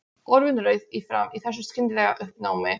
Orðin rauð í framan í þessu skyndilega uppnámi.